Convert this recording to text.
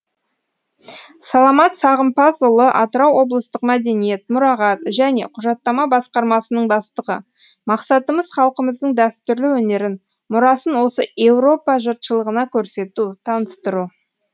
саламат сағымпазұлы атырау облыстық мәдениет мұрағат және құжаттама басқармасының бастығы мақсатымыз халқымыздың дәстүрлі өнерін мұрасын осы еуропа жұртшылығына көрсету таныстыру